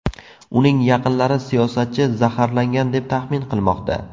Uning yaqinlari siyosatchi zaharlangan, deb taxmin qilmoqda.